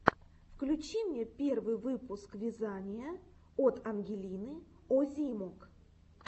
включи мне первый выпуск вязания от ангелины озимок